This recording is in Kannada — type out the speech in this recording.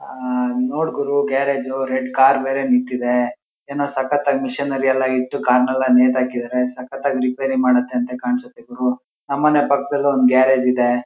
ಆಹ್ಹ್ ನೋಡ್ ಗುರು ಗ್ಯಾರೇಜು ರೆಡ್ ಕಾರ್ ಬೇರೆ ನಿಂತಿದೆ. ಏನೋ ಸಕ್ಕತ್ ಆಗಿ ಮೇಶಿನರಿ ಎಲ್ಲ ಇಟ್ಟು ಕಾರ್ನೆಲ್ಲ ನೇತಾಕಿದರೆ ಸಕ್ಕತಾಗಿ ರಿಪೇರಿ ಮಾಡತಂತೆ ಕಾಣ್ಸುತ್ತೆ ಗುರು ನಮ್ಮನೆ ಪಕ್ಕದಲ್ಲೂ ಒಂದ್ ಗ್ಯಾರೇಜ್ ಇದೆ.